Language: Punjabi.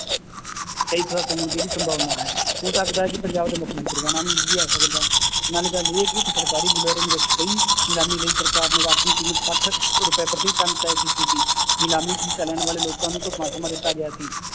ਕਈ ਖੁਲਾਸੇ ਹੋਣ ਦੀ ਵੀ ਸੰਭਾਵਨਾ ਹੈ ਹੋ ਸਕਦਾ ਹੈ ਕਿ ਪੰਜਾਬ ਦੇ ਮੁੱਖ ਮੰਤਰੀ ਦਾ ਨਾਮ ਵੀ ਆ ਸਕਦਾ ਹੈ, ਨਾਲੇ ਗੱਲ ਇਹ ਕਿ ਇੱਕ ਸਰਕਾਰੀ ਬੁਲਾਰੇ ਦੇ ਵਿੱਚ ਕਈ ਨਿਲਾਮੀ ਲਈ ਸਰਕਾਰ ਨੇ ਰਾਂਖਵੀ ਕੀਮਤ ਸੱਠ ਰੁਪਏ ਪ੍ਰਤੀ ਟੱਨ ਤੈਅ ਕੀਤੀ ਸੀ ਨਿਲਾਮੀ 'ਚ ਹਿੱਸਾ ਲੈਣ ਵਾਲੇ ਲੋਕਾਂ ਨੂੰ ਢੁੱਕਵਾਂ ਸਮਾਂ ਦਿੱਤਾ ਗਿਆ ਸੀ